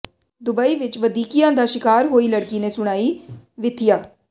Dubai ਵਿੱਚ ਵਧੀਕੀਆਂ ਦਾ ਸ਼ਿਕਾਰ ਹੋਈ ਲੜਕੀ ਨੇ ਸੁਣਾਈ ਵਿਥਿਆ